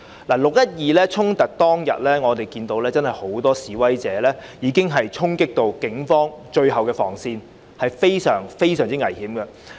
"六一二"衝突當天，我們看到很多示威者已衝擊警方的最後防線，情況非常危險。